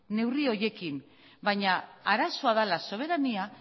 neurri horiekin baina arazoa dela soberania